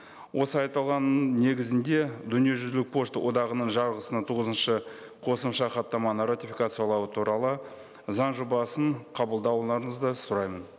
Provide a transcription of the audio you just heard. осы айтылғанның негізінде дүниежүзілік пошта одағының жарғысына тоғызыншы қосымша хаттаманы ратификациялау туралы заң жобасын қабылдауларыңызды сұраймын